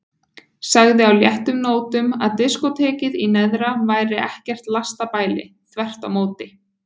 Sagði á léttum nótum að diskótekið í neðra væri ekkert lastabæli, þvert á móti.